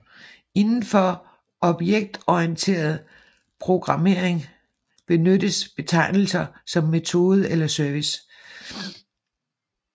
Inden for objektorienteret programmering benyttes betegnelser som metode eller service